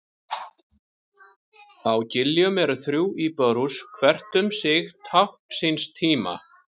Á Giljum eru þrjú íbúðarhús, hvert um sig tákn síns tíma.